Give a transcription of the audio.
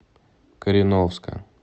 кореновска